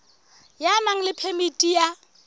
ya nang le phemiti ya